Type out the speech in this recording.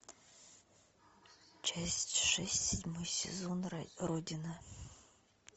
часть шесть седьмой сезон родина